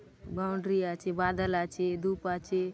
बाउंड्री आछे बादल आछे धूप आछे।